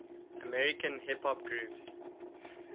american hip hop groups